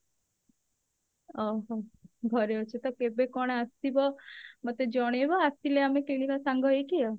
ଓଃ ହୋ ଘରେ ଅଛ ତ କେବେ କଣ ଆସିବ ମୋତେ ଜଣେଇବ ଆସିଲେ ଆମେ କିଣିବା ସାଙ୍ଗ ହେଇକି ଆଉ